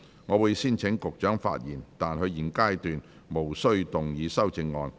我會先請局長發言，但他在現階段無須動議修正案。